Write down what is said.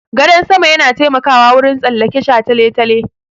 Gadan sama yana taimakawa wurin tsallake shataletale.